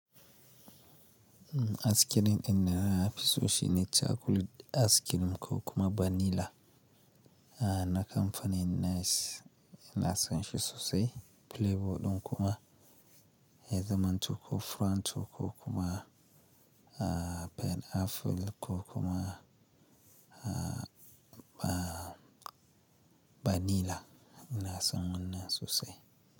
Icream din nafi so shine ne, chacolate icream ko kuma vanilla na kamfanin Nice ina sonshi sosai. Playboy ɗin kuma Heatherman ko Frontoko kuma PIneapple ko kuma ba vanilla ina son wannan sosai.